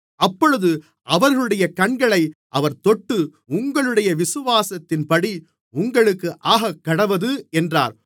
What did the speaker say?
அப்பொழுது அவர்களுடைய கண்களை அவர் தொட்டு உங்களுடைய விசுவாசத்தின்படி உங்களுக்கு ஆகக்கடவது என்றார்